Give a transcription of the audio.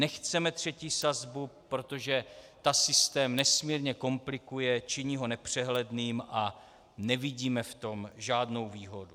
Nechceme třetí sazbu, protože ta systém nesmírně komplikuje, činí ho nepřehledným a nevidíme v tom žádnou výhodu.